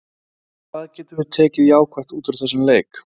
En hvað getum við tekið jákvætt úr þessum leik?